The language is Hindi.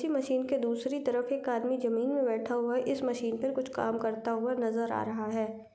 इसी मशीन के दूसरी तरफ एक आदमी जमीन में बैठा हुआ है इस मशीन पर कुछ काम करता हुआ नजर आ रहा है।